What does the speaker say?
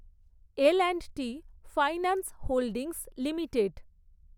L and T finance holdings limited